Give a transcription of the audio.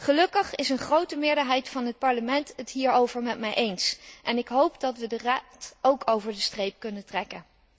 Gelukkig is een grote meerderheid van het Parlement het hierover met mij eens en ik hoop dat we ook de Raad over de streep kunnen trekken.